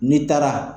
N'i taara